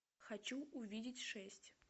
хочу увидеть шесть